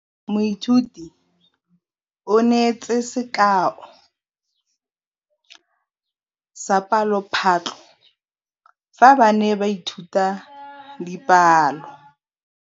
Moithuti o neetse sekaô sa palophatlo fa ba ne ba ithuta dipalo.